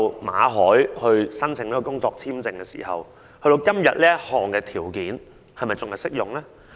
馬凱申請工作簽證時，我不知道這項條件至今是否仍然適用。